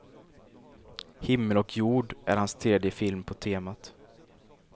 Himmel och jord är hans tredje film på temat.